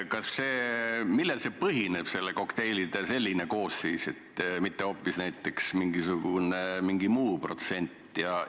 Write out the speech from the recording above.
Millel selline kokteilide koosseis põhineb, miks mitte hoopis mingisugune muu protsent?